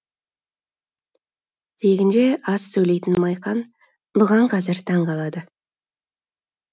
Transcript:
тегінде аз сөйлейтін майқан бұған қазір таң қалады